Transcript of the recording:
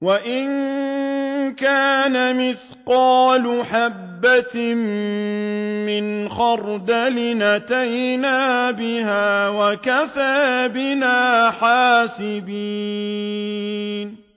وَإِن كَانَ مِثْقَالَ حَبَّةٍ مِّنْ خَرْدَلٍ أَتَيْنَا بِهَا ۗ وَكَفَىٰ بِنَا حَاسِبِينَ